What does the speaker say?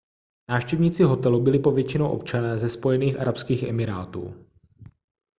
návštěvníci hostelu byli povětšinou občané ze spojených arabských emirátů